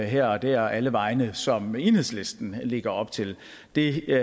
her og der og alle vegne som enhedslisten lægger op til det